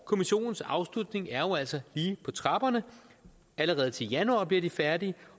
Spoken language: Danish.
kommissionens afslutning er jo altså lige på trapperne allerede til januar bliver de færdige